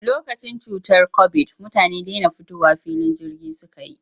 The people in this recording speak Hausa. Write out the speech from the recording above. Lokacin cutar kobid, mutane dena zuwa filin jirgi suka yi.